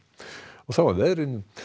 og þá að veðri